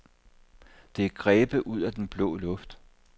Det er grebet ud af den blå luft.